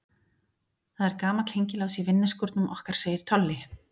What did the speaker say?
Það er gamall hengilás í vinnuskúrnum okkar segir Tolli.